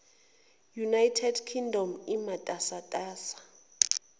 united kingdom imatasatasa